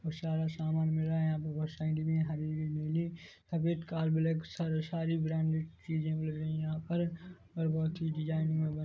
सारा समान मिल रहा हैं यहाँ पर बहोत सारी डिबिया हैं हरी-हरी नीली सफेद का ब्लैक का सारी ब्रांडेड चीजे मिल रही हैं यहाँ पर और बहोत ही डिजाइन मे--